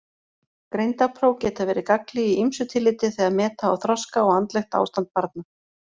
Greindarpróf geta verið gagnleg í ýmsu tilliti þegar meta á þroska og andlegt ástand barna.